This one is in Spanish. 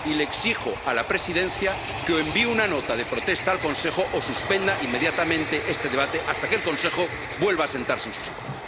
Y le exijo a la Presidencia que o envíe una nota de protesta al Consejo o suspenda inmediatamente este debate hasta que el Consejo vuelva a sentarse en su sitio.